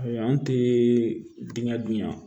Ayi an te dingɛ dunya